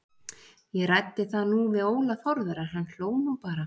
Ég ræddi það nú við Óla Þórðar en hann hló nú bara.